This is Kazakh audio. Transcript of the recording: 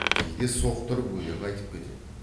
кейде соқтырып өлең айтып кетеді